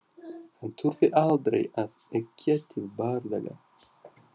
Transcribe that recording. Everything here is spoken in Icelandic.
Hann þurfti aldrei að eggja til bardaga.